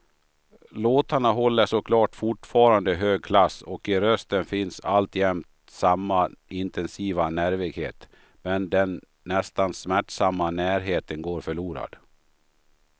Låtarna håller såklart fortfarande hög klass och i rösten finns alltjämt samma intensiva nervighet, men den nästan smärtsamma närheten går förlorad.